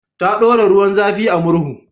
Ta ɗora ruwan zafi a murhu.